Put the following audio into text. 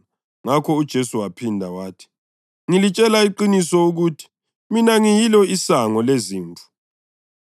Ngakho uJesu waphinda wathi, “Ngilitshela iqiniso ukuthi mina ngiyilo isango lezimvu.